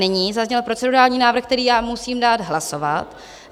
Nyní zazněl procedurální návrh, který já musím dát hlasovat.